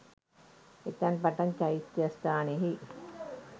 එතැන් පටන් චෛත්‍යස්ථානයෙහි